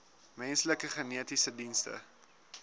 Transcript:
menslike genetiese dienste